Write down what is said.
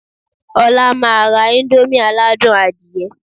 Ọlá máa ra íńdómì aládùn adìyẹ.